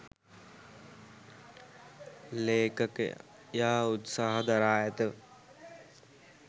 ලේඛකයා උත්සාහ දරා ඇත.